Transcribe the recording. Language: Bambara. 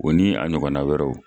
O ni a ɲɔgɔnna wɛrɛw.